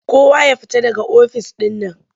Kowa ya fita daga ofis ɗin nan!